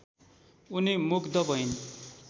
उनी मुग्ध भइन्